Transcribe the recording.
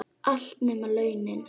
Allt, nema launin.